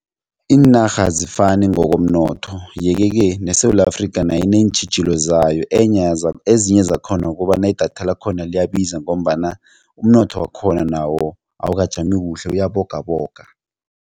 Iinarha azifani ngokomnotho yeke-ke neSewula Afrika nayo ineentjhijilo zayo ezinye zakhona ukobana idatha lakhona liyabiza ngombana umnotho wakhona nawo awukajami kuhle uyabogaboga.